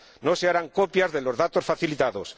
No se harán copias de los datos facilitados.